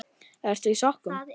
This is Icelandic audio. Ertu í sokkum?